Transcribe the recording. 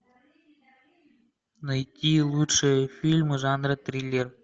найти лучшие фильмы жанра триллер